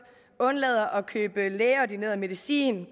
undlader at købe lægeordineret medicin